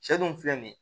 Sɛ dun filɛ nin ye